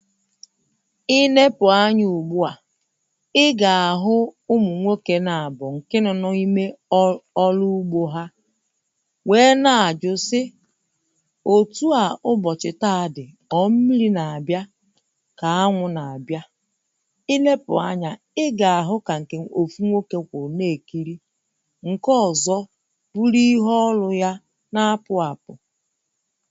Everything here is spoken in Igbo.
í nepu anya ugbu à Ị ga-ahụ ụmụnwoke na abuọ nke nọ na ime ọlụ ọlụ ugbo ha wee na-ajụ sị o tua ụbọchị taa dị ọ mmiri na abịà ka anwụ na-abịa i nepu anya ị ga-ahụ ka nke ofu nwoke kwụrụ na-ekiri nke ọzọ bụri ihu ọlụ ya na apụ apụ